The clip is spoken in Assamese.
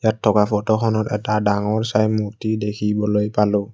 ইয়াত থকা ফটোখনত এটা ডাঙৰ চাই মূৰ্তি দেখিবলৈ পালোঁ।